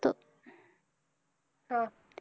हा.